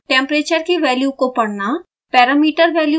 temperature की value को पढ़ना